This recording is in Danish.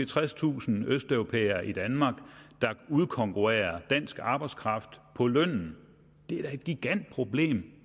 tredstusind østeuropæere i danmark der udkonkurrerer dansk arbejdskraft på lønnen det er da et gigantproblem